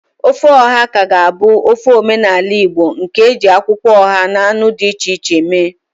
Ofe oha ka ga-abụ ofe omenala Igbo nke e ji akwụkwọ oha na anụ dị iche iche eme.